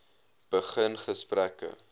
begin gesprekke